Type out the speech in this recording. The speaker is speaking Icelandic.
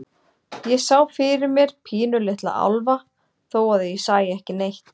Ég sá fyrir mér pínulitla álfa, þó að ég sæi ekki neitt.